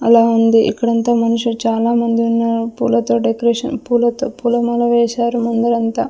అలా ఉంది ఇక్కడంతా మనుషులు చాలామంది ఉన్నారు పూలతో డెకరేషన్ పూలతో పూలమాల వేశారు ముందరంతా.